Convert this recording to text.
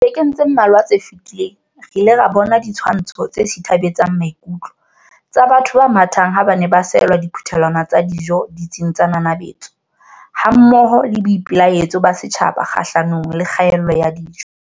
Dibekeng tse mmalwa tse fetileng, re ile ra bona ditshwantsho tse sithabetsang maikutlo tsa batho ba mathateng ha ba ne ba seohela diphuthelwana tsa dijo ditsing tsa nanabetso, hammoho le boipelaetso ba setjhaba kgahlanong le kgaello ya dijo.